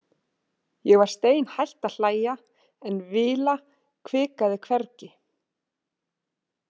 Ég var steinhætt að hlæja en Vila hvikaði hvergi.